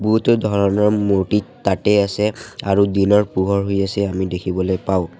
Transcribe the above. বহুতো ধৰণৰ মূৰ্ত্তি তাতে আছে আৰু দিনৰ পোহৰ হৈ আছে আমি দেখিবলে পাওঁ।